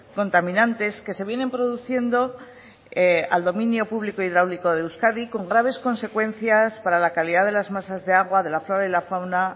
contaminantes que se vienen produciendo al dominio público hidráulico de euskadi con graves consecuencias para la calidad de las masas de agua de la flora y la fauna